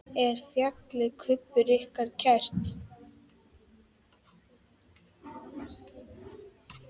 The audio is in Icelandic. Er fjallið Kubbur ykkur kært?